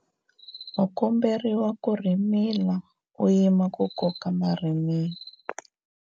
u komberiwa ku rhimila u yima ku koka marhimila